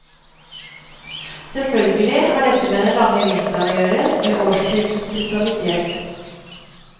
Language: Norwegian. Selvfølgelig har dette med den lange vinteren å gjøre, med årstidenes brutalitet.